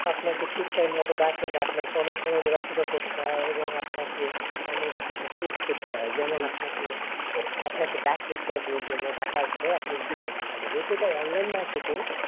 আপনাকে ঠিক time মতন দেখে না, আপনাকে অনেক সময় অপেক্ষা করতে হয়, এবং আপনাকে অনেক কিছু face করতে হয়, যেমন আপনাকে ডাকে interview এর জন্য, ডাকার পরে আপনি গেলেন সেখানে যেহেতু সেটা online marketing,